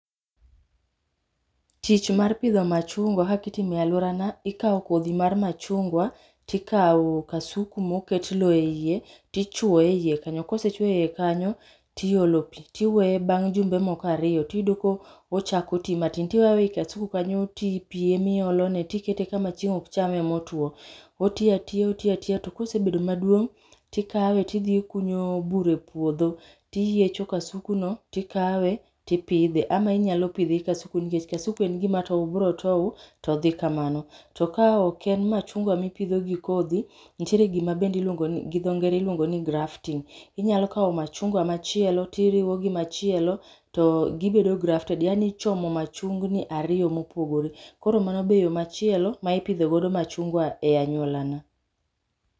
Tich ma pidho machungwa kaka itimo e aluorana, ikawo kodhi mar machungwa, to ikawo kasuku moket lowo eiye to ichuoye eiye kanyo, ka osechuoye eiye kanyo to iolo pi. Iweye bang' jumbe moko kanyo ariyo kae to iyudo ka ochako ti matin to iweye aweya e kasuku kanyo to pi ema iolone to ikete kama chieng' ok chame motwo. Oti atiya oti atiya to ka osebedo maduong' ikawe to idhi ikunyo bur e puodho to iyecho kasukuno to ikawe to ipidhe ama inyalo pidhe gi kasukuno nikech kasuku en gima tow, obiro tow to odhi kamano. To ka ok en machungwa ma ipidho gi kodhi, nitiere gima bende iluongo gidho ngere iluongo ni grafting. Inyalo kawo machungwa machielo to iriwo gi machielo to gibedo grafted, yaani ichomo machungni ariyo mopogore. Koro mano be yo machielo ma ipidho godo machungwa e anyuolana.